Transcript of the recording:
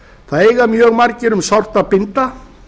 það eiga mjög margir um sárt að binda